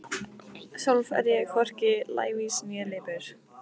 Sjálf er ég hvorki lævís né lipur.